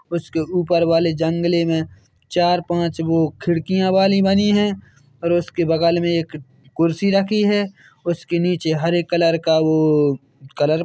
उसके ऊपर वाले जंगले मे चार पाँच वो खिड़कियाँ वाली बनी है और उसके बगल मे एक कुर्सी रखी है उसके नीचे हरे कलर का वो कलर। --